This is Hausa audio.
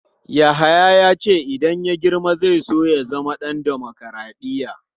Yahaya ya ce idan ya girma zai so ya zama ɗan dimokradiyya.